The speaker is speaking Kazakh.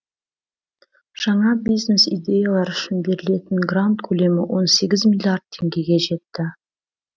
жаңа бизнес идеялар үшін берілетін грант көлемі он сегіз миллиард теңгеге жетті